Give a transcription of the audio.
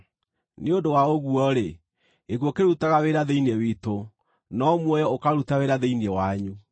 Nĩ ũndũ wa ũguo-rĩ, gĩkuũ kĩrutaga wĩra thĩinĩ witũ, no muoyo ũkaruta wĩra thĩinĩ wanyu.